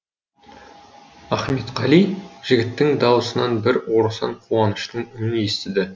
ахметқали жігіттің даусынан бір орасан қуаныштың үнін естіді